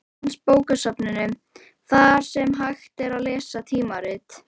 Landsbókasafninu, þar sem hægt var að lesa tímaritin.